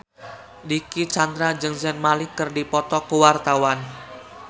Dicky Chandra jeung Zayn Malik keur dipoto ku wartawan